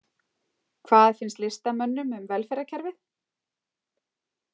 Hvað finnst listamönnum um velferðarkerfið?